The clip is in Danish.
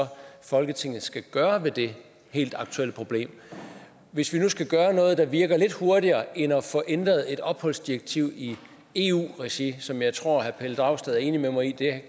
folketinget skal gøre ved det helt aktuelle problem hvis vi nu skal gøre noget der virker lidt hurtigere end at få ændret et opholdsdirektiv i eu regi som jeg tror herre pelle dragsted er enig med mig i